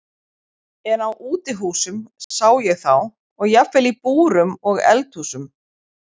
En á útihúsum sá ég þá og jafnvel í búrum og eldhúsum.